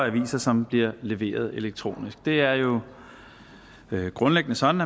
aviser som bliver leveret elektronisk det er jo grundlæggende sådan